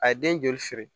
A ye den joli siri